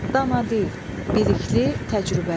Danadil, bilikli, təcrübəli.